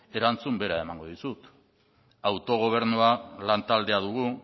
erantzun bera emango dizut autogobernua lantaldea dugu